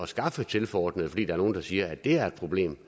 skaffe tilforordnede fordi der er nogen der siger at det er et problem